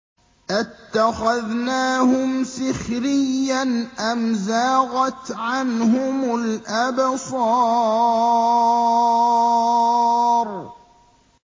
أَتَّخَذْنَاهُمْ سِخْرِيًّا أَمْ زَاغَتْ عَنْهُمُ الْأَبْصَارُ